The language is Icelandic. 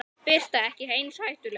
Birta: Ekki eins hættuleg?